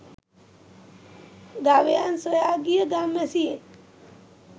ගවයන් සොයා ගිය ගම්වැසියෙක්